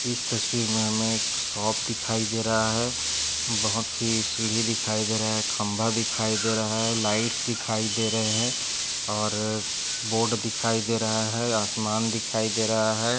इस तस्वीर मे हमे एकशॉप दिखाई दे रहा है। बहुत सी सीडी दिखाई दे रहे खंबा दिखाई दे रहा है लाइट्स दिखाई दे रहे है और बोर्ड दिखाई दे रहा है आसमान दिखाई दे रहा है।